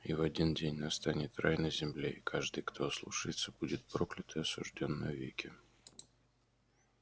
и в один день настанет рай на земле и каждый кто ослушается будет проклят и осуждён навеки